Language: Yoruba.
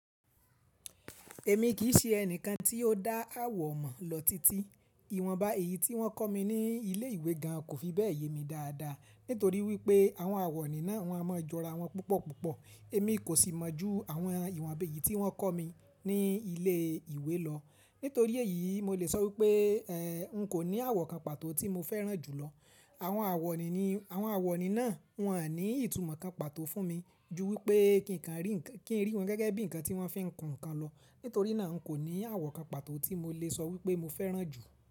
Èmi kì í ṣe ẹni kan tí ó dá àwọ̀ mọ̀ lọ titi. Ìwọ̀nba èyí tí wọ́n kọ́ mi ní ilé ìwé gan kò fi bẹ́ẹ̀ ye mi dáadáa, nítorí wípé àwọn àwọ̀ní náà wọ́n ha mọ jọra wọn púpọ̀púpọ̀. Èmi kò sì mọ̀ jú àwọn ìwọ̀nba èyí tí wọ́n kọ́ mi ní ilé ìwé lọ. Nítorí èyí, mo lè sọ wípé, ehn, n kò ní àwọ̀ kan pàtó tí mo fẹ́ràn jù lọ. Àwọn àwọ̀ní ni, àwọn àwọ̀ní náà wọ́n à ní ìtumọ̀ kan pàtó fún mi ju wípé kí n rí wọn gẹ́gẹ́ bí ǹkan tí wọ́n fi ń kun ǹkan lọ. Nítorí náà n kò ní àwọ̀ kan pàtó tí mo lè sọ wípé mo fẹ́ràn jù.